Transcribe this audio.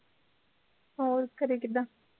ਹੋਰ ਘਰੇ ਕਿੱਦਾਂ